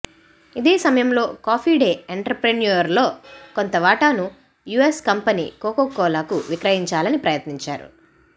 ఇదే సమయంలో Coffee Day ఎంటర్ప్రైన్యూర్లో కొంత వాటాను యుఎస్ కంపెనీ కోకో కోలాకు విక్రయించాలని ప్రయత్నించారు